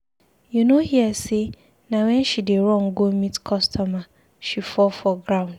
You no hear say na wen she dey run go meet customer she fall for ground.